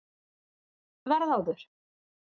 Verð áður